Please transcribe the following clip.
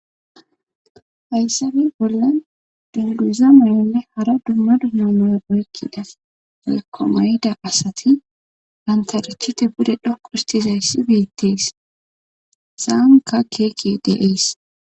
hayssani bollan dunduza moyonne hara dumma dumma noe oykkidas ekomayida asati hantarichite bude dhokustizayssi beettees he sanka keekey de'ees